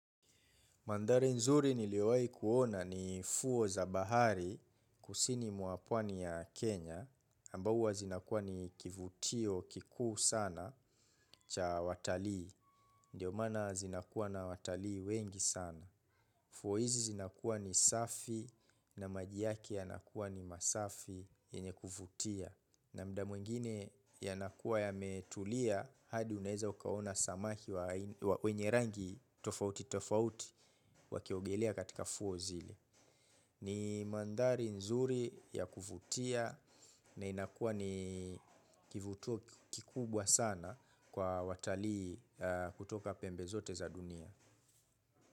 Mandhari nzuri niliwai kuona ni fuo za bahari kusini mwa pwani ya Kenya, ambao uwa zinakuwa ni kivutio kikuu sana cha watalii, ndio maana zinakuwa na watalii wengi sana. Fuo izi zinakuwa ni safi na maji yake yanakuwa ni masafi yenye kuvutia na muda mwingine yanakuwa yametulia hadi uneza ukaona samaki wa wenye rangi tofauti tofauti wakiogelea katika fuo zile. Ni mandhari nzuri ya kuvutia na inakuwa ni kivutio kikubwa sana kwa watalii kutoka pembe zote za dunia.